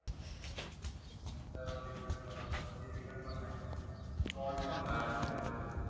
नंतर मग return करा. कधी return पण नाही घेत. Fraud पण होतात त्याच्यामधे.